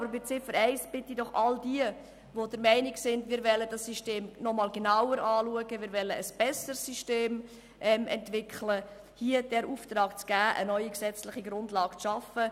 Aber bei Ziffer 1 bitte ich doch all jene, die der Meinung sind, dass wir das System noch einmal genauer anschauen und es zum Besseren entwickeln wollen, den Auftrag zu erteilen, eine neue gesetzliche Grundlage zu schaffen.